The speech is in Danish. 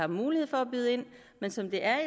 mulighed for at byde ind men som det er